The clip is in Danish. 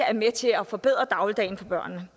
er med til at forbedre dagligdagen for børnene